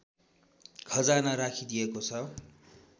खजाना राखिदिएको छ